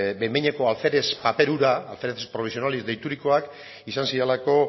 behin behineko alferez paper hura alférez provisionales deiturikoak izan zirelako